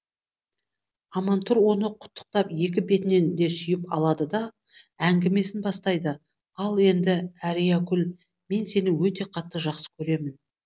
амантұр оны құттықтап екі бетінен де сүйіп алады да әңгімесін бастайды ал енді әриякүл мен сені өте қатты жақсы көремін